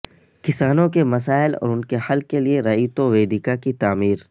کسانوں کے مسائل اور ان کے حل کیلئے رعیتوویدیکا کی تعمیر